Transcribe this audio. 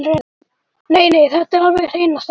Nei, nei, þetta er alveg hreina satt!